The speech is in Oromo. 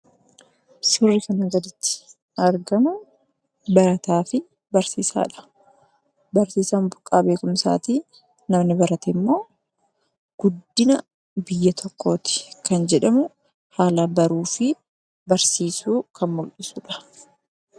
Suuraan kana gaditti argamu barataa Fi barsiisadha. barsiisaan burqa bekumsaati; namni baratemmoo guddina biyya tokkotti kan jedhamu Haala baruu Fi barsiisu kan muldhisudha.